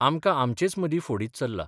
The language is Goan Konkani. आमकां आमचेच मर्दी फोडीत चल्ला.